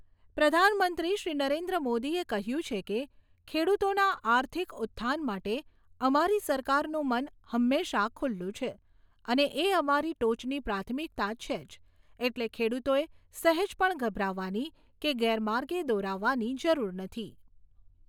પ્રધાનમંત્રીશ્રી નરેન્દ્ર મોદીએ કહ્યું છે કે, ખેડૂતોના આર્થિક ઉત્થાન માટે અમારી સરકારનું મન હંમેશા ખૂલ્લું છે અને એ અમારી ટોચની પ્રાથમિકતા છે જ, એટલે ખેડૂતોએ સહેજ પણ ગભરાવાની કે ગેરમાર્ગે દોરાવવાની જરૂર નથી.